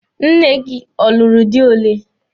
Nne gị ọ lụrụ di ole?